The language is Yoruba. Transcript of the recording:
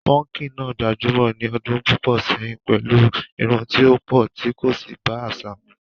púnkì náà gbajúmọ̀ ní ọdún púpọ̀ sẹ́yìn pẹ̀lú irun tí ó pọ̀ tí kò sì bá àṣà mu.